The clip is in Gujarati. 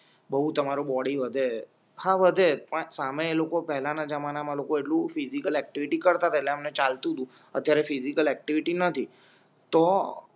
બહુ તમારું બોડી વધે હા વધે પણ સામે એ લોકો પહેલાના જમાનામાં એટલું ફિઝિકલ ઍક્ટિવિટી કરતાં પેલા એમને ચાલતું તુ અત્યારે ફીઝીકલ એક્ટિવિટી નથી તો